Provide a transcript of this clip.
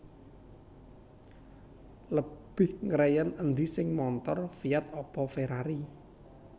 Lebih ngreyen endi seh montor Fiat apa Ferrari?